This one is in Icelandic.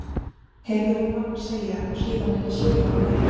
heyrði hún pabba segja og síðan ekki söguna meir.